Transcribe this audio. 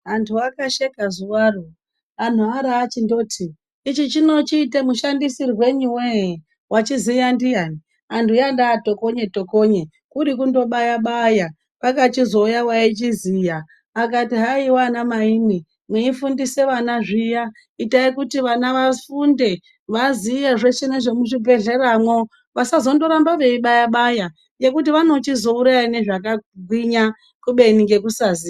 Antu akasheka zuvaro antu aro achindoti ichi chiite mushandisirwerei vee vachiziya ndiyani. Antu anda tokonye-tokonye kuri kundobaya-baya kwakachizouya vaichiziya akati haiva ana maimwi muifundise vana zviya itai kuti vana vafunde aziye zveshe nezvemuzvibhedhleramwo. Vasazondoramba veibaya-baya ngekuti vanochizondouraya nezvakagwinya kubeni ngekusaziya.